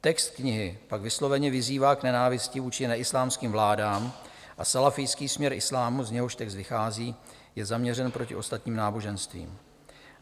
Text knihy pak vysloveně vyzývá k nenávisti vůči neislámským vládám a salafijský směr islámu, z něhož text vychází je změřený proti ostatním náboženstvím.